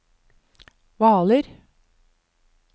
Hvaler